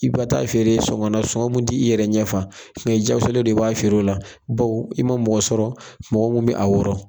I ba taa'a feere soŋɔ na sɔŋɔ mun t'i yɛrɛ ɲɛ fa. jakosalen do i b'a feer'o la bawo i ma mɔgɔ sɔrɔ mɔgɔ mun bɛ a wɔrɔ.